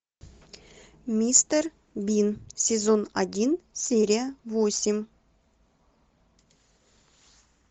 мистер бин сезон один серия восемь